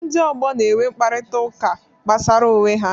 Ndị ọgbọ na-enwe mkparịta ụka gbasara onwe ha.